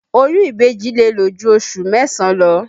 Oyún ìbejì lè lò ju oṣù mẹ́sàn-án lọ